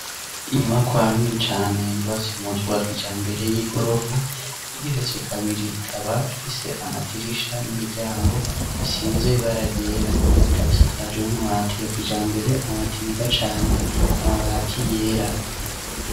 Inyubakwa nini cane, yubatse mu buryo bwa kijambere, y'igorofa igeretse kabiri, ikaba ifise amadirisha n'imiryango bisize ibara ryera; ikaba isakaje n'amabati ya kijambere, amabati meza cane, amabati yera.